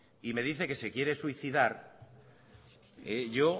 y me dice que se quiere suicidar yo